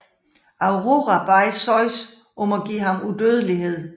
Aurora bad Zeus om at give ham udødelighed